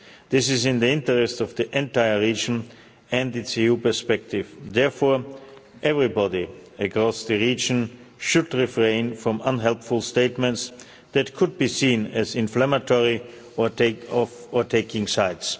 This is in the interest of the entire region and its EU perspective, therefore everybody across the region should refrain from unhelpful statements that could be seen as inflammatory or taking sides.